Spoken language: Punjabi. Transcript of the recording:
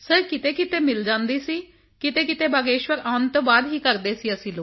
ਸਿਰ ਕਿਤੇਕਿਤੇ ਮਿਲ ਜਾਂਦੀ ਕਿਤੇਕਿਤੇ ਬਾਗੇਸ਼ਵਰ ਆਉਣ ਦੇ ਬਾਅਦ ਕਰਦੇ ਸੀ ਅਸੀਂ ਲੋਕ